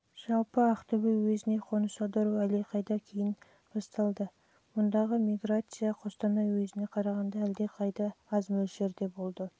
жалпы ақтөбе уезіне қоныс аудару әлдеқайда кейін басталды мұндағы миграция қостанай уезіне қарағанда әлдеқайда де аз мөлшерде болды